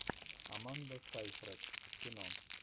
аманда сайфред кино